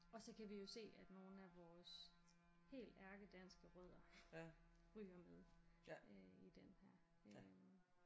Og så kan vi jo se at nogle af vores helt ærkedanske rødder ryger med i den her øh